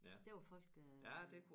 Der var folk øh